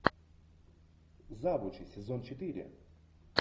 завучи сезон четыре